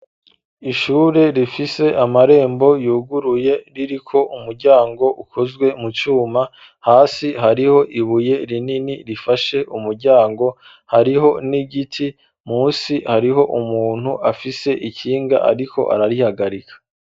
Ishure rifise amarembo yuguruye, ririko umuryango ukozwe mu cuma ,hasi hariho ibuye rinini rifashe umuryango ,hariho n'igiti musi hariho umuntu afise ikinga ariko ararihagarika.